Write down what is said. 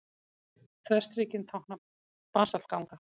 Þverstrikin tákna basaltganga.